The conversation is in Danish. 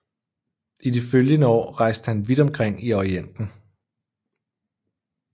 I de følgende år rejste han vidt omkring i Orienten